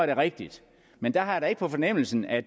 det rigtigt men jeg har da ikke på fornemmelsen at